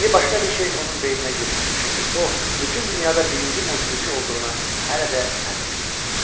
İndi başqa bir şey onun beyninə girmir, çünki o bütün dünyada birinci musiqiçi olduğuna hələ də əmindir.